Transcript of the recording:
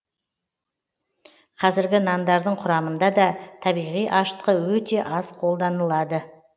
қазіргі нандардың құрамында табиғи ашытқы өте аз қолданылады